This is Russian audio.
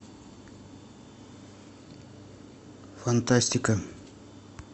фантастика